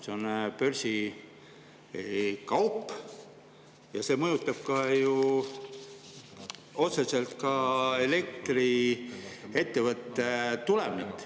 See on börsikaup ja see mõjutab otseselt ka elektriettevõtte tulemit.